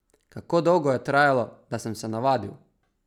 Kako dolgo je trajalo, da sem se navadil?